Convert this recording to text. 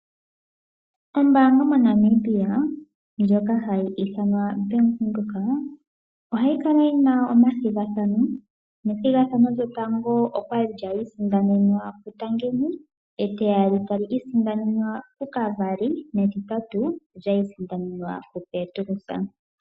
Ombaanga moNamibia ndjoka hayi ithanwa Bank Windhoek ohayi kala yina omathigathano. Nethigathano lyotango okwali lya isindanenwa po kuTangeni, etiyali tali isindanenwa po kuKavari netitatu olya isindanenwa po ku Petrus.